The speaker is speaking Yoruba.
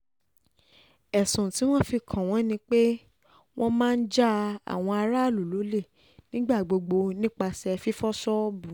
ẹ̀sùn tí wọ́n fi kàn wọ́n ni pé wọ́n máa ń ja àwọn aráàlú lólè nígbà gbogbo nípasẹ̀ fífọ́ ṣọ́ọ̀bù